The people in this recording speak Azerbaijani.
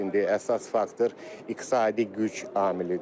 İndi əsas faktor iqtisadi güc amilidir.